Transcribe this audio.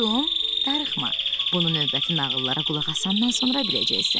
Darıxma, bunu növbəti nağıllara qulaq asandan sonra biləcəksən.